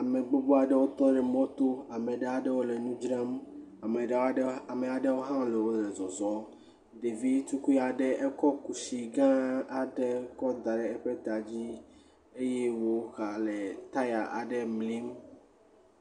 Ame gbogbo aɖewo tɔ ɖe mɔ to. Ame aɖewo le nu dzram, ame aɖewo hã wole zɔzɔm. Ɖevi tukui aɖe ekɔ kusi gã aɖe da ɖe eƒe ta dzi eye wogale taya aɖe mlim.